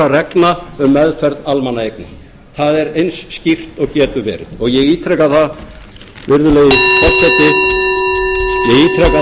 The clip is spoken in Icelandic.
reglna um meðferð almannaeigna það er eins skýrt og getur verið og ég ítreka það virðulegi forseti ég ítreka það virðulegi forseti